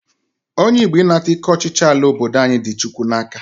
Onye Igbo ịnata ike ọchịchị ala obodo anyị dị Chukwu n'aka